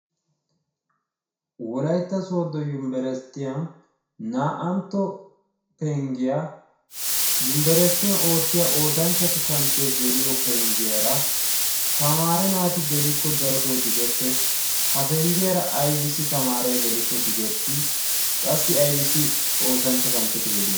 Wolaytta sooddo yunibberesttiyan naa"antto penggiya yunibberesttiyan oottiya oosanchchatu kanchchee geliyo penggiyara tamaare naati gelikko darotoo digettes. Ha penggiyara tamaareti geliyoogee aybissi digettii? Qassi aybissi oosonchcha kanchchee gelii?